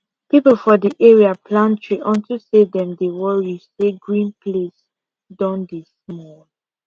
people for the area plant tree unto say dem dey worry say green place don dey small